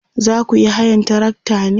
zakuyi hayan trakta ne?